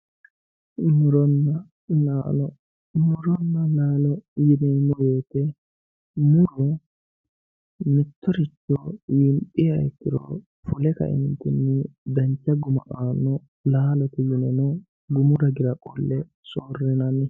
muronna laalo muronna laalo yineemmo wote muro mittoricho winxiha ikkiro fule kaeentinni dancha guma aanno laale yine gumu ragira qolle soorrinanni.